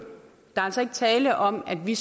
der er altså ikke tale om at vi